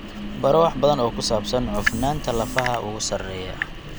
Baro wax badan oo ku saabsan cufnaanta lafaha ugu sarreeya.